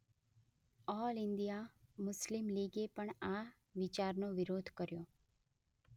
All India Muslim લિગે પણ આ વિચારનો વિરોધ કર્યો.